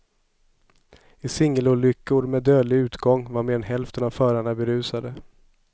I singelolyckor med dödlig utgång var mer än hälften av förarna berusade.